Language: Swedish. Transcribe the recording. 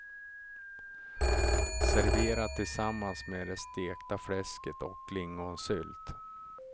Servera tillsammans med det stekta fläsket och lingonsylt.